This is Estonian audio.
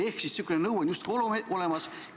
Ehk siis selline nõue on justkui olemas.